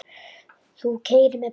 Þú keyrir með bæjum.